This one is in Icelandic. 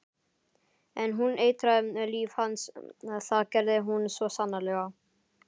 En hún eitraði líf hans, það gerði hún svo sannarlega.